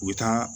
U bɛ taa